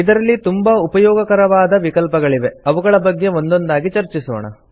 ಇದರಲ್ಲಿ ತುಂಬಾ ಉಪಯೋಗಕರವಾದ ವಿಕಲ್ಪಗಳಿವೆ ಅವುಗಳ ಬಗ್ಗೆ ಒಂದೊಂದಾಗಿ ಚರ್ಚಿಸೋಣ